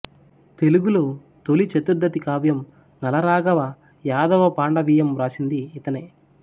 తెలుగులో తొలి చతురర్థి కావ్యం నలరాఘవ యాదవ పాండవీయం వ్రాసింది ఇతనే